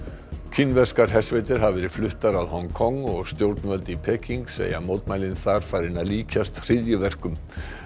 kínverskar hersveitir hafa verið fluttar að Hong Kong og stjórnvöld í Peking segja mótmælin þar farin að líkjast hryðjuverkum